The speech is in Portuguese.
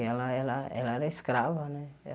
Ela ela ela era escrava, né?